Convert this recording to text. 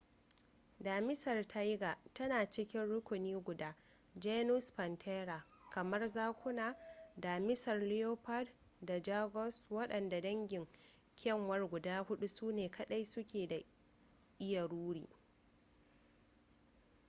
damisar tiger tana cikin rukuni guda genus panthera kamar zakuna damisar leopards da jaguars. wadannan dangin kyanwar guda huɗu sune kaɗai su ke iya ruri